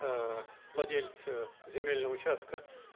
владелец земельного участка